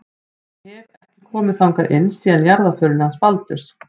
Ég hef. ekki komið þangað inn síðan í jarðarförinni hans Baldurs.